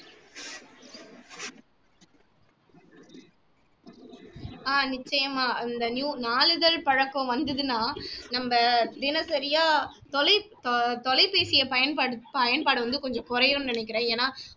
ஆஹ் நிச்சயமா இந்த நியூ நாளிதழ் பழக்கம் வந்ததுன்னா நம்ம தினசரியா தொலை தொ தொலைபேசியை பயன்படுத் பயன்பாட வந்து கொஞ்சம் குறையும்ன்னு நினைக்கிறேன் ஏன்னா